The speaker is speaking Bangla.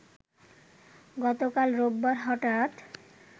গতকাল রোববার হঠাৎ